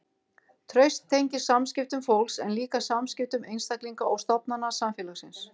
Traust tengist samskiptum fólks en líka samskiptum einstaklinga og stofnana samfélagsins.